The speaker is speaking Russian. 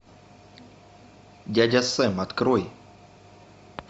дядя сэм открой